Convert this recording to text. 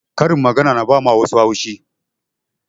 Karin magana na ba wa wassu haushi